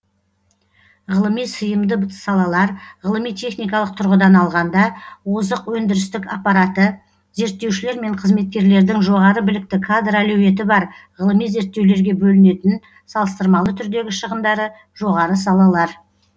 ғылыми сыйымды салалар ғылыми техникалық тұрғыдан алғанда озық өндірістік аппараты зерттеушілер мен қызметкерлердің жоғары білікті кадр әлеуеті бар ғылыми зерттеулерге бөлінетін салыстырмалы түрдегі шығындары жоғары салалар